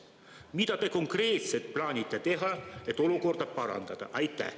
Mida te konkreetselt plaanite teha, et olukorda parandada?